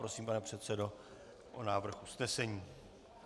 Prosím, pane předsedo, o návrh usnesení.